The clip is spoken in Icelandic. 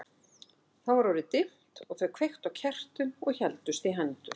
Þá var orðið dimmt og þau kveiktu á kertum og héldust í hendur.